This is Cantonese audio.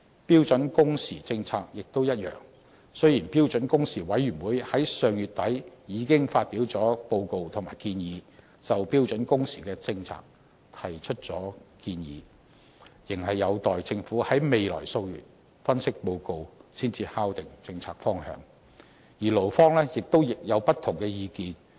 標準工時政策亦一樣，雖然標準工時委員會已在上月底發表報告及建議，就標準工時政策提出建議，有關政策方向仍待政府在未來數月發表分析報告才能敲定，而勞方亦有不同意見。